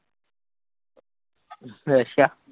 ਅੱਛਾ।